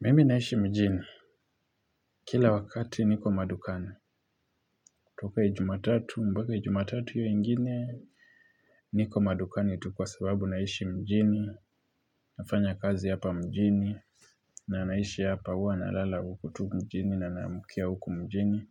Mimi naishi mjini, kila wakati niko madukani. Toka ijumatatu, mpaka ijumatatu hiyo ingine, niko madukani tu kwa sababu naishi mjini, nafanya kazi hapa mjini, na naishi hapa huwa nalala huku tu mjini na naamkia huku mjini.